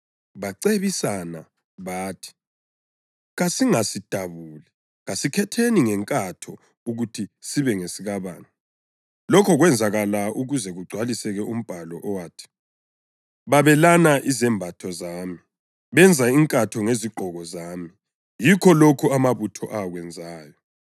Bacebisana bathi, “Kasingasidabuli. Kasikhetheni ngenkatho ukuthi sibe ngesikabani.” + 19.24 AmaHubo 22.18 Lokhu kwenzakala ukuze kugcwaliseke umbhalo owathi: “Babelana izembatho zami benza inkatho ngezigqoko zami.” Yikho lokhu amabutho akwenzayo.